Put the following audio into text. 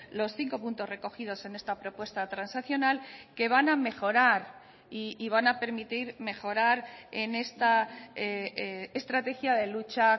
los cinco puntos recogidos en esta propuesta transaccional que van a mejorar y van a permitir mejorar en esta estrategia de lucha